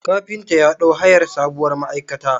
Kafinta ya ɗau hayar sabuwar ma'aikata.